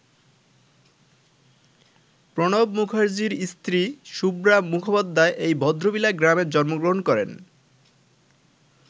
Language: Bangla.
প্রণব মুখার্জির স্ত্রী শুভ্রা মুখোপাধ্যায় এই ভদ্রবিলা গ্রামে জন্মগ্রহণ করেন।